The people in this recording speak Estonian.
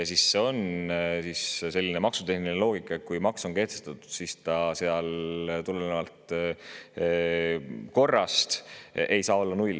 Aga seal on selline maksutehniline loogika: kui maks on kehtestatud, siis tulenevalt korrast ei saa seal olla nulli.